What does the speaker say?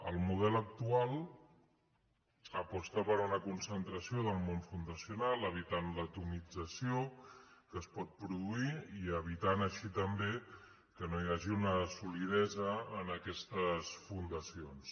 el model actual aposta per una concentració del món fundacional evitant l’atomització que es pot produir i evitant així també que no hi hagi una solidesa en aquestes fundacions